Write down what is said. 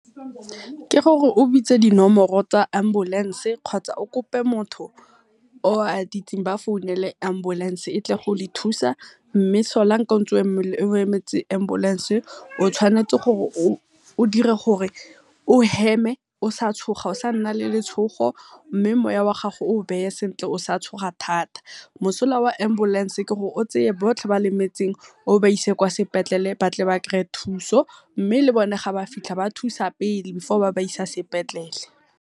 Ke gore o bitse dinomoro tsa Ambulance kgotsa o kope motho o a dirseng ba founele ambulance e tle go le thusa, mme solank-a o emetse ambulance o tshwanetse o dire gore o heme, o sa tshoga o sa nna le letshogo, mme moya o a gago o beye sentle o sa tshoga thata. Mosola wa ambulance ke gore o tseye botlhe ba lemetseng o ba ise kwa sepetlele, batle ba kry-e thuso Mme le bone ha ba fitlha ba thusa pele before ba isa sepetlele.